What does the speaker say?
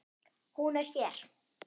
Hún er hér.